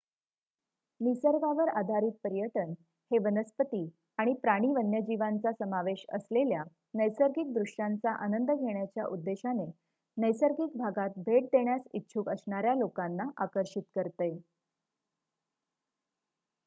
निसर्गावर आधारित पर्यटन हे वनस्पती आणि प्राणी वन्यजीवांचा समावेश असलेल्या नैसर्गिक दृश्यांचा आनंद घेण्याच्या उद्देशाने नैसर्गिक भागात भेट देण्यास इच्छुक असणाऱ्या लोकांना आकर्षित करते